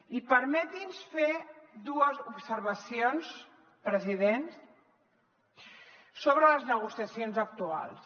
i permeti’ns fer dues observacions president sobre les negociacions actuals